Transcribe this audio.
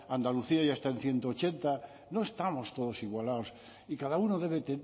andalucía ya está en ciento ochenta no estamos todos igualados y cada uno debe